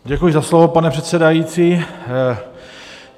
Děkuji za slovo, pane předsedající.